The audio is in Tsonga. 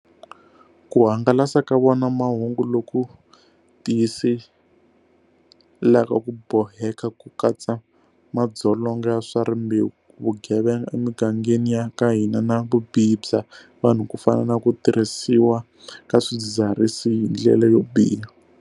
Ku hangalasa ka vona mahungu loku tiyiselaka ku boheka ku katsa madzolonga ya swa rimbewu, vugevenga emigangeni ya ka hina na vubihi bya vanhu ku fana na ku tirhisiwa ka swidzidziharisi hi ndlela yo biha.